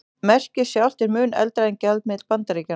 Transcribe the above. Merkið sjálft er mun eldra en gjaldmiðill Bandaríkjanna.